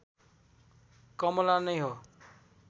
कमला नै हो